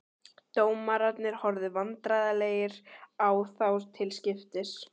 Dómararnir horfðu vandræðalegir á þá til skiptis.